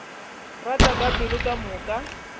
rata ka pelo ka moka